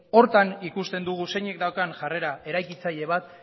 hortan ikusten dugun zeinek daukan jarrera eraikitzaile bat